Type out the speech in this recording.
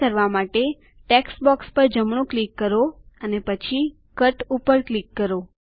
તે કરવા માટે ટેક્સ્ટ બોક્સ પર જમણું ક્લિક કરો પછી કટ ઉપર ક્લિક કરો